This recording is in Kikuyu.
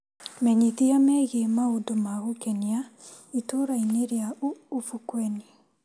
Menyithia megiĩ maũndũ ma gũkenia itũra-inĩ rĩa ubukweni.